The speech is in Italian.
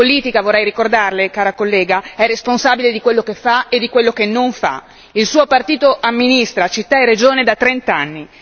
La politica vorrei ricordarle cara collega è responsabile di quello che fa e di quello che non fa, il suo partito amministra città e regione da trent'anni